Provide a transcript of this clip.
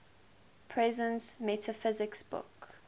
presence metaphysics book